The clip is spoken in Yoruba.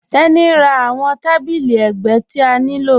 Tení n rá awọn tàbílí ẹgbẹ̀ ti a nilò.